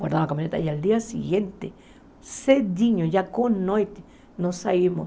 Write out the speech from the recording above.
Guardamos a caminhonete, e no dia seguinte, cedinho, já com noite, nós saímos.